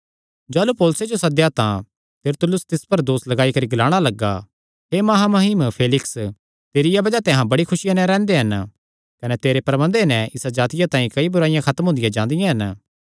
जाह़लू पौलुसे जो सद्देया तां तिरतुल्लुस तिस पर दोस लगाई करी ग्लाणा लग्गा हे महामहिम फेलिक्स तेरिया बज़ाह ते अहां बड़ी खुसिया नैं रैंह्दे हन कने तेरे प्रबन्धे नैं इसा जातिया तांई कई बुराईआं खत्म हुंदियां जांदियां हन